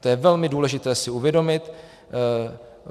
- To je velmi důležité si uvědomit.